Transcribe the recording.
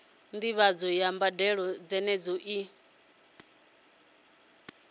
ndivhadzo ya mbadelo dzenedzo i